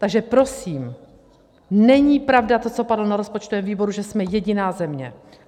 Takže prosím, není pravda to, co padlo na rozpočtovém výboru, že jsme jediná země.